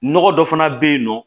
Nɔgɔ dɔ fana bɛ yen nɔ